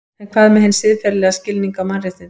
En hvað með hinn siðferðilega skilning á mannréttindum?